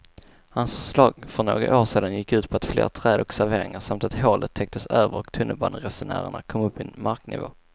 Hans förslag för några år sedan gick ut på fler träd och serveringar samt att hålet täcktes över och tunnelbaneresenärerna kom upp i marknivå.